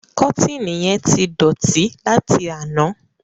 Kọ́tììnì yẹn ti dọ̀tí láti àná.